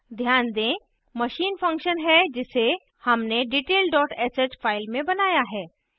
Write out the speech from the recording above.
ध्यान दें machine function है जिसे हमने detail dot sh file में बनाया है